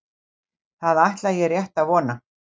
Það ætla ég rétt að vona.